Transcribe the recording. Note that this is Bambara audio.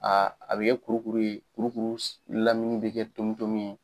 a bi kɛ kurukuru ye kurukuru lamini bi kɛ tomitomi ye.